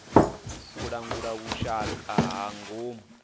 u langula vhushaka ha ngomu